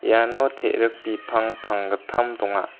iano te·rik bipang panggittam donga.